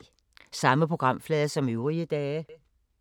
Samme programflade som øvrige dage